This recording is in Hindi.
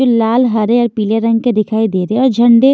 जो लाल हरे और पीले रंग के दिखाई दे रहे हैं और झंडे--